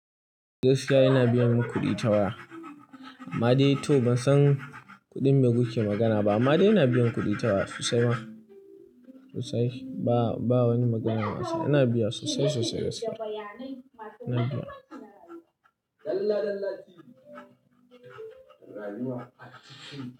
Gaskiya ina biyan kuɗi ta waya. Amma dai to bansan kuɗin me kuke magana ba. Amma dai ina biyan kuɗi ta waya sosai ma, sosai. Ba, ba wani magana ba. Ina biya sosai sosai gaskiya.